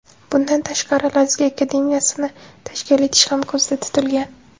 Bundan tashqari, Lazgi akademiyasini tashkil etish ham ko‘zda tutilgan.